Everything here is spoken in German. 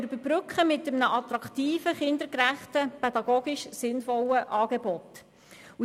Wir wollen dies mit einem attraktiven, kindergerechten, pädagogisch sinnvollen Angebot überbrücken.